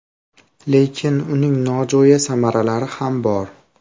Lekin uning nojo‘ya samaralari ham bor.